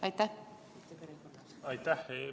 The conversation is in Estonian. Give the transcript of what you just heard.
Aitäh!